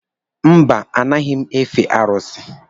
Mba, anaghị m efe arụsị.